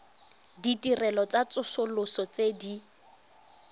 ditirelo tsa tsosoloso tse di